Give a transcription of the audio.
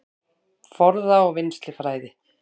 Forða- og vinnslufræði